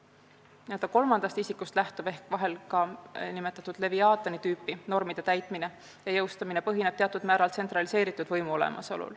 N-ö kolmandast isikust lähtuv ehk nn Leviaatani tüüpi normide täitmine ja jõustamine põhineb tsentraliseeritud võimul.